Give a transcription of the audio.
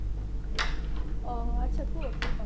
ଓହୋ ଆଚ୍ଛା କୁହ କୋଉ କାମ